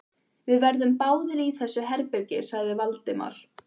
Við verðum báðir í þessu herbergi sagði Valdimar.